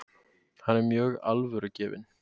Hann var mjög alvörugefinn.